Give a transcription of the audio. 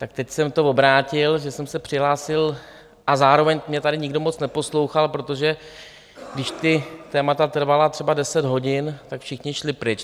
Tak teď jsem to obrátil, že jsem se přihlásil, a zároveň mě tady nikdo moc neposlouchal, protože když ta témata trvala třeba deset hodin, tak všichni šli pryč.